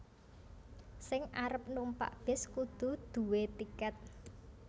Sing arep numpak bis kudu due tiket